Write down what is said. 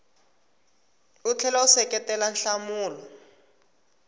u tlhela u seketela nhlamulo